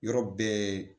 Yɔrɔ bɛɛ